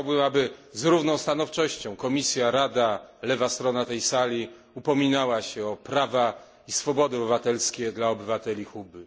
Chciałbym, aby z równą stanowczością Komisja, Rada, lewa strona tej sali upominały się o prawa i swobody obywatelskie dla obywateli Kuby.